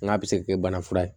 N k'a bɛ se kɛ bana fura ye